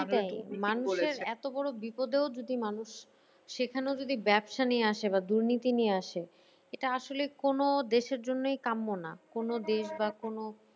এত বড়ো বিপদ এও যদি মানুষ সেখানেও যদি ব্যবসা নিয়ে আসে বা দুর্নীতি নিয়ে আসে এটা আসলে কোনো দেশের জন্যই কাম্য না কোনো দেশ বা কোনো